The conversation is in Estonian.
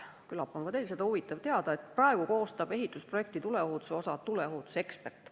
Küllap on ka teil seda huvitav teada, et praegu koostab ehitusprojekti tuleohutuse osa tuleohutusekspert.